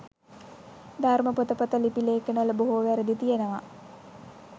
ධර්ම පොතපත ලිපි ලේඛනවල බොහෝ වැරදි තියෙනවා